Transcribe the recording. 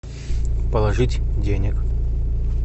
положить денег